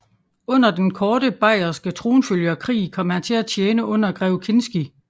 Under den korte Bayerske tronfølgerkrig kom han til at tjene under grev Kinsky